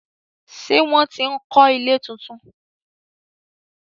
ṣe wón tí ń kò ilé títún.